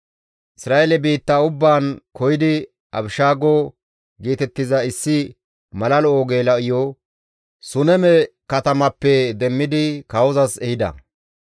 Isra7eele biitta ubbaan koyidi Abishaago geetettiza issi mala lo7o geela7iyo Suneme katamappe demmidi kawozas ehida.